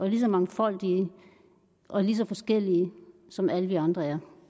lige så mangfoldige og lige så forskellige som alle vi andre er